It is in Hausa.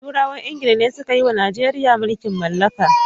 Turawan ingila ne suka yiwa Najeriya mulkin mallaka.